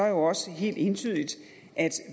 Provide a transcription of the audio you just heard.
jo også helt entydigt at